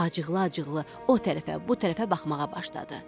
Acıqlı-acıqlı o tərəfə, bu tərəfə baxmağa başladı.